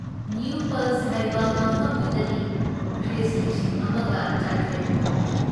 new ꯄꯜꯖ ꯍꯥꯏꯕ ꯃꯐꯝꯗꯨꯗꯅꯤ, ꯈ꯭ꯔꯤꯁ ꯂꯤꯁꯤꯡ ꯑꯃꯒ ꯆꯥꯇ꯭ꯔꯦꯠ ꯀꯨꯟ,